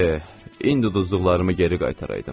E, indi udduqlarımı geri qaytaraydım.